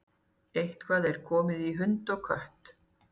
Eitthvað er komið í hund og kött